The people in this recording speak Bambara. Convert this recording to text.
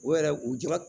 O yɛrɛ u jɔ